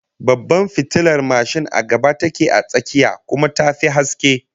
Babbar fitilar mashin a gaba take a tsakiyar, kuma ta fi haske